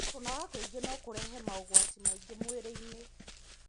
Kũnoga kwĩingĩno kũrehe maũgwati maingĩmwĩrĩ-inĩ.